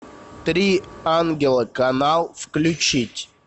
три ангела канал включить